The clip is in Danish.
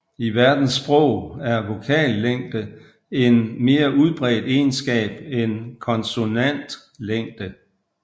I verdens sprog er vokallængde en mere udbredt egenskab end konsonantlængde